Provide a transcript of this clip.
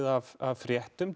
af fréttum